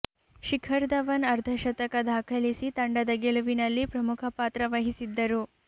ಶಿಖರ್ ಧವನ್ ಅರ್ಧಶತಕ ದಾಖಲಿಸಿ ತಂಡದ ಗೆಲುವಿನಲ್ಲಿ ಪ್ರಮುಖ ಪಾತ್ರ ವಹಿಸಿದ್ದರು